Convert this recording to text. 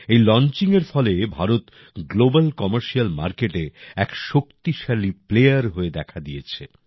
এই লঞ্চিংয়ের ফলে ভারত গ্লোবাল কমার্শিয়াল মার্কেটে এক শোক্তিশালী প্লেয়ার হয়ে দেখা দিয়েছে